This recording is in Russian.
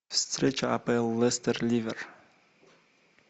встреча апл лестер ливер